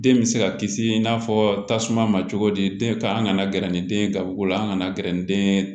Den bɛ se ka kisi i n'a fɔ tasuma ma cogo di den kan an kana gɛrɛ ni den ye garibuko la an kana gɛrɛ den